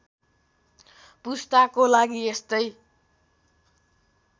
पुस्ताको लागि यस्तै